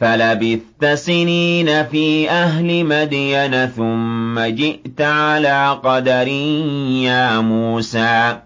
فَلَبِثْتَ سِنِينَ فِي أَهْلِ مَدْيَنَ ثُمَّ جِئْتَ عَلَىٰ قَدَرٍ يَا مُوسَىٰ